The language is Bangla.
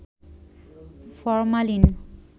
ফরমালিন